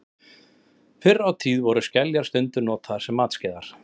Fyrr á tíð voru skeljar stundum notaðar sem matskeiðar.